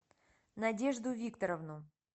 надежду викторовну